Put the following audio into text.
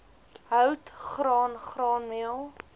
hout graan graanmeel